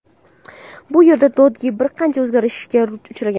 Bu yerda Dodge bir qancha o‘zgarishlarga uchragan.